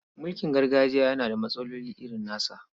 Mulkin gargajiya yana da matsaloli irin nasa.